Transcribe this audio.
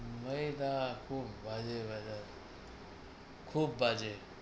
Weather খুব বাজে weather খুব বাজে।